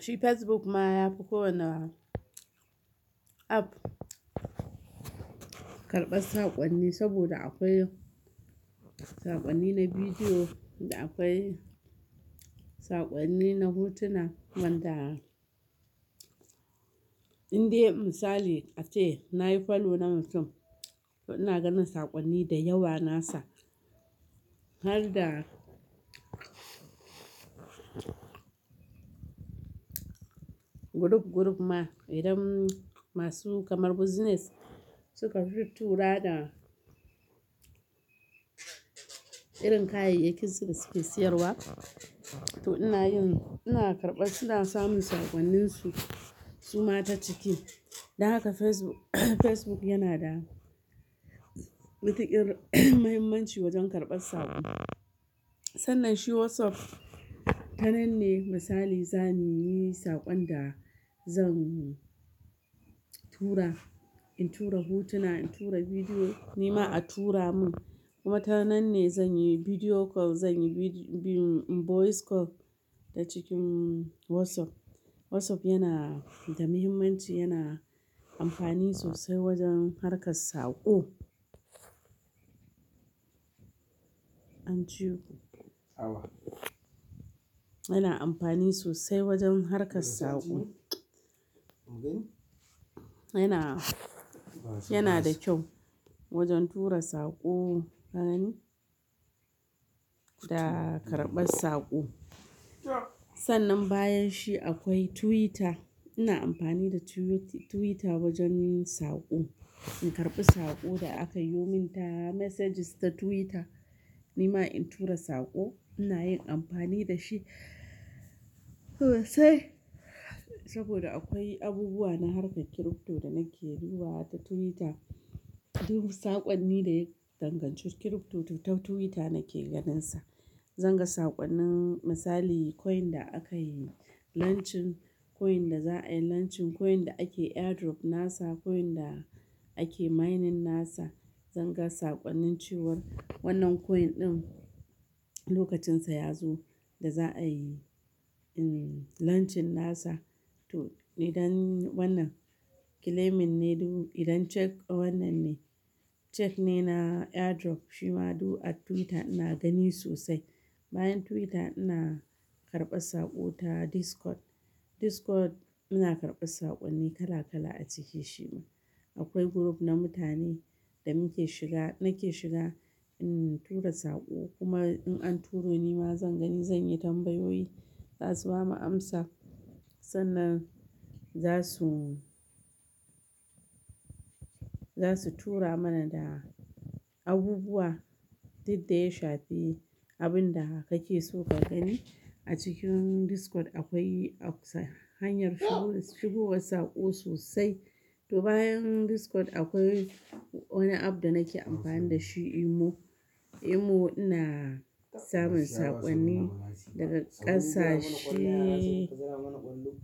Shi Facebook ma ya fi kowane app karɓar saƙonni saboda akwai saƙonni na bidiyo da akwai saƙonni na hotuna wanda indai misali a ce na yi follow na mutum, to ina ganin saƙonni da yawa nasa har da group, group ma idan masu kamar business suka tittura da irin kayayyakin su suke siyarwa to ina yin, ina karɓar, suna samun saƙonninsu su ma ta ciki. Don haka Facebook, Facebook yana da mutuƙir muhimmanci wajen karɓar saƙo. Sannan shi WhatsApp, tanan ne misali za mu yi saƙon da zan tura, in tura hotuna, in tura bidiyo, ni ma a tura mun. Kuma tanan ne zan yi bidiyo call, zan yi bi-- voice call ta cikin WhatsApp. WhatsApp yana da muhimmanci, yana amfani sosai wajen harkar saƙo. An ji? Yana amfani sosai wajen harkar saƙo. Yana, yana da kyau wajen tura saƙo ka gane da karɓar saƙo. Sannan bayan shi akwai Twitter. Ina amfani da Twit-Twitter wajen yin saƙo. In karɓi saƙo da aka yo min ta messages ta Twitter, ni ma in tura saƙo ina yin amfani da shi sosai saboda akwai abubuwa na harkar crypto da nake duba wa ta Twitter. Duk saƙonni da ya danganci crypto ta Twitter nake ganinsa. Zan ga saƙonnin misali coin da aka yi launching, coin da za a yi launching, coin da ake airdrop nasa, coin da ake mining nasa. Zan ga saƙonnin cewar wannan coin ɗin lokacinsa ya zo da za a yi, em, launching nasa to idan wannan claiming ne duk, idan check wannan ne check ne na airdrop. Shi ma duk a Twitter ina gani sosai. Bayan Twitter ina karɓar saƙo ta Discord. Discord ina karɓar saƙonni kala kala a cike shi ma. Akwai group na mutane da muke shiga, nake shiga, em, tura saƙo. Kuma in an turo ni ma zan gani, zan yi tambayoyi za su bamu amsa. Sannan za su, za su tura mana da abubuwa duk da ya shafi abin da kake so ka gani. A cikin Discord akwai ak sa-- hanyar shigo, shigo saƙo sosai. To bayan Discord akwai wani app da nake amfani da shi Emo. Emo ina samun saƙonni daga ƙasashe,